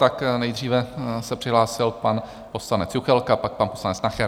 Tak nejdříve se přihlásil pan poslanec Juchelka, pak pan poslanec Nacher.